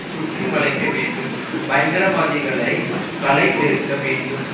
சுற்றி வளைக்க வேண்டும் பயங்கரவாதிகளைக் களை எடுக்க வேண்டும்